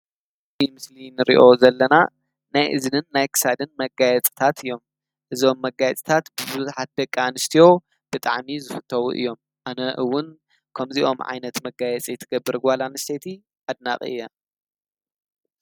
እዚ ንሪኦ ዘለና ናእዝንን ናይ ክሳድን መጋየፂታት እዮም እዞም መጋየፅታት ብዙሕት ደቂ ኣንስትዮ ብጣዕሚ ዝፍተው እዮም። ኣነ እዉን ከምዚኦም ዓይነት መጋየፂ ትገብር ጓል ኣንስተይቲ ኣድናቂ እየ።